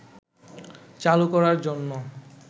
চালু করার জন্য